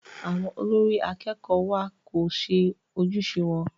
Àwọn olórí akẹ́kọ̀ọ́ wa kò ṣe ojúṣe wọn.